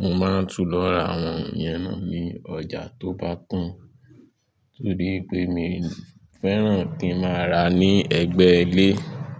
Mo máa ń tú lọ ra àwọn ẹ̀yẹn náà ní ọjà tó bá tán. Torí pé mi ò fẹ́ràn kí ń máa rà á ní ẹ̀gbẹ́ ilé.